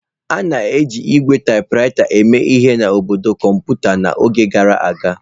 A na-eji ígwè taịpụraịta eme ihe n'ọnọdụ kọmputa n'oge gara aga.